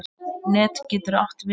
Net getur átt við